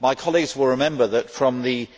My colleagues will remember that, from the